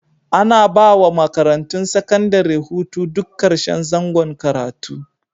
Ana ba wa makarantun sakandare hutu duk karshen zangon karatu.